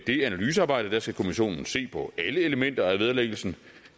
det analysearbejde skal kommissionen se på alle elementer af vederlæggelsen